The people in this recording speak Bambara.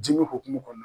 Dimi hukumu kɔnɔna na